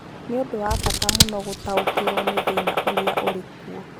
Nĩ ũndũ wa bata mũno gũtaũkĩrũo nĩ thĩna ũrĩa ũrĩ kuo.